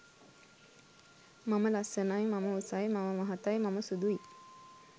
මම ලස්සනයි, මම උසයි, මම මහතයි, මම සුදුයි